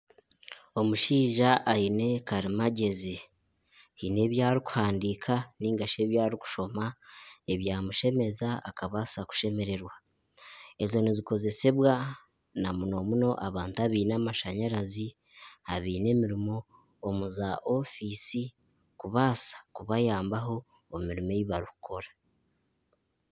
Omushaija aine karimagyezi. Haine ebi arikuhandiika nainga shi ebi arikushoma ebyamushemeza akabaasa kushemererwa. Ezo nizikozesibwa na muno muno abantu abaine amashanyarazi, abaine emirimo omu za ofiisi kubaasa kubayambaho omu mirimo ei barikukora.